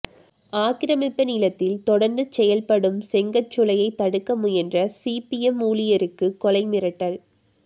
ஆக்கிரமிப்பு நிலத்தில் தொடர்ந்து செயல்படும் செங்கற்சூளை தடுக்க முயன்ற சிபிஎம் ஊழியருக்குக் கொலை மிரட்டல்